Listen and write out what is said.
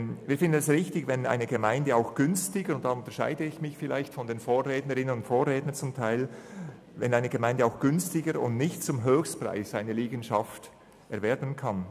Wir finden es im Unterschied zu einigen meiner Vorrednerinnen und Vorredner richtig, wenn eine Gemeinde eine Liegenschaft auch günstiger und nicht zum Höchstpreis erwerben kann.